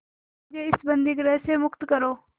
मुझे इस बंदीगृह से मुक्त करो